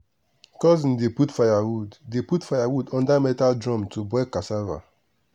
cousin dey put firewood dey put firewood under metal drum to boil cassava.